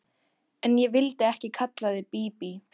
En ég vildi ekki kalla þig Bíbí.